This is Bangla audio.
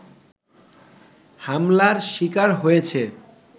হামলার শিকার হয়েছে